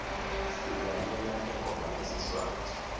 silalela tingoma tesiswati